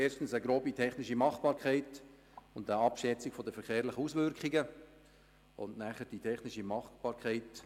Erstens die grobe technische Machbarkeit und eine Abschätzung von den verkehrlichen Auswirkungen und nachher die technische Machbarkeit.